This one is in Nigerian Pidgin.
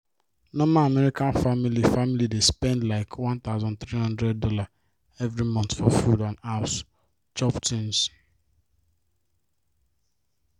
normal american family family dey spend likeone thousand three hundred dollarsevery month for food and house chop things